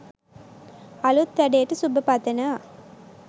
අලුත් වැඩේට සුබ පතනවා.